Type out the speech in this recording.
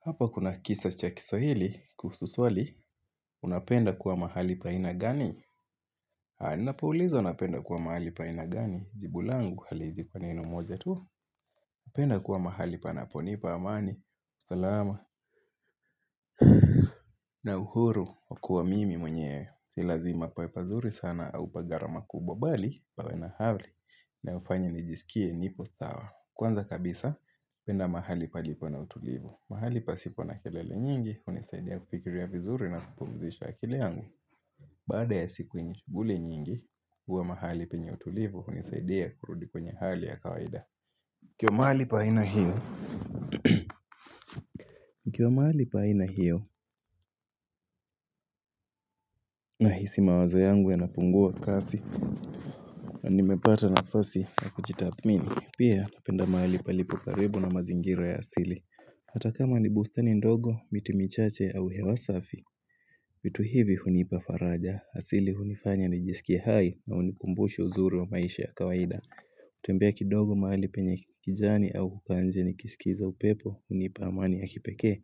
Hapa kuna kisa cha kiswahili kuhusu swali, unapenda kuwa mahali pa aina gani. Ninapoulizwa, napenda kuwa mahali pa aina gani, jibu langu haliwezi kuwa neno moja tu. Napenda kuwa mahali panaponipa amani, salama na uhuru wa kuwa mimi mwenyewe. Si lazima pawe pazuri sana au pa gharama kubwa bali, pawe na hali na hufanya nijisikie nipo sawa. Kwanza kabisa hupenda mahali palipo na utulivu. Mahali pasipo na kelele nyingi hunisaidia kufikiria vizuri, na kupumzisha akili yangu. Baada ya siku bule nyingi, kuwa mahali penye utulivu hunisaidia kurudi kwenye hali ya kawaida. Nikiwa mahali pa aina hii, nikiwa mahali pa aina hiyo nahisi mawazo yangu yanapungua kasi na nimepata nafasi ya kujitathmini. Pia napenda mahali palipo karibu na mazingira ya asili. Hata kama ni bustani ndogo, miti michache au hewa safi vitu hivi hunipa faraja, asili hunifanya nijisikie hai na hunikumbusha uzuri wa maisha ya kawaida kutembea kidogo mahali penye kijani au kukaa nje nikiskiza upepo hunipa amani ya kipekee.